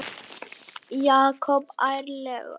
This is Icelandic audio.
Jakob ærlegur